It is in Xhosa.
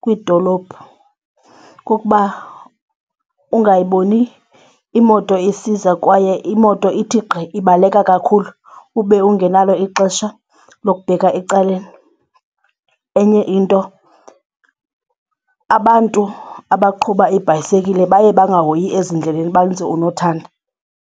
kwiidolophu kukuba ungayiboni imoto isiza kwaye imoto ithi gqi ibaleka kakhulu ube ungenalo ixesha lokubheka ecaleni. Enye into abantu abaqhuba ibhayisekile baye bangahoyi ezindleleni benze unothanda.